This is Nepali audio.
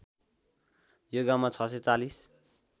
यो गाउँमा ६४०